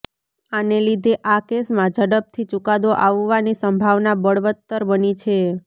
આને લીધે આ કેસમાં ઝડપથી ચુકાદો આવવાની સંભાવના બળવત્તર બની છે